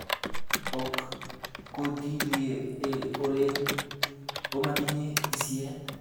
Ok kotilieolen omotinye tisiet.